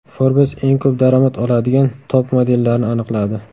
Forbes eng ko‘p daromad oladigan top-modellarni aniqladi.